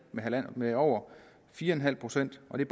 med over fire en halv procent og det